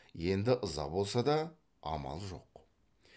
енді ыза болса да амал жоқ